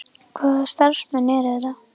Hvaða starfsmenn eru þetta?